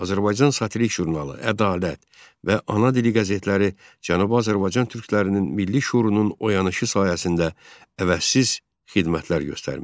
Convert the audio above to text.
Azərbaycan satirik jurnalı "Ədalət" və "Ana dili" qəzetləri Cənubi Azərbaycan türklərinin milli şüurunun oyanışı sayəsində əvəzsiz xidmətlər göstərmişdi.